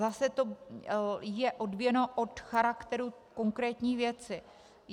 Zase to je odvíjeno od charakteru konkrétní věci.